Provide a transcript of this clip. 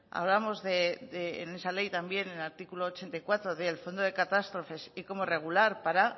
hablamos en esa ley también en el artículo ochenta y cuatro del fondo de catástrofes y cómo regular para